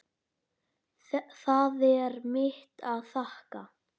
Það er mitt að þakka.